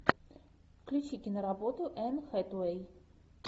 включи киноработу энн хэтэуэй